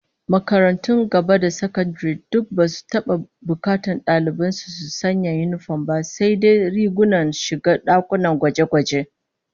Makarantun gaba da sakandare duk basu taba bukatar dalibai su sanya yinifom ba, sai. dai rigunan shiga dakunan gwaje-gwaje